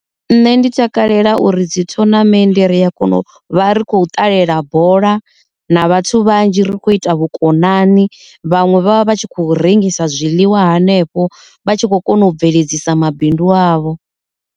Nṋe ndi takalela uri dzi thonamennde ri a kona u vha ri khou ṱalela bola na vhathu vhanzhi ri kho ita vhukonani vhaṅwe vha vha vha tshi kho rengisa zwiḽiwa hanefho vha tshi kho kona u bveledzisa mabindu avho.